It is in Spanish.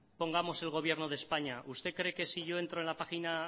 pongamos el gobierno de españa usted cree que si yo entro en la página